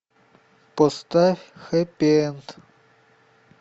поставь хэппи энд